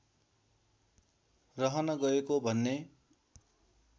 रहन गएको भन्ने